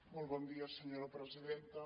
molt bon dia senyora presidenta